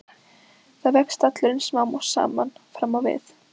Þannig vex stallurinn smám saman fram á við.